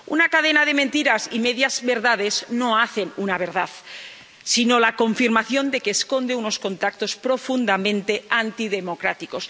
Una cadena de mentiras y medias verdades no hacen una verdad, sino la confirmación de que esconde unos contactos profundamente antidemocráticos.